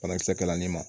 Banakisɛ kɛlan in ma